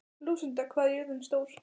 Lúsinda, hvað er jörðin stór?